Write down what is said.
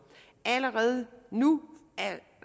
allerede nu